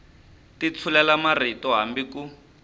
ti tshulela marito hambi ku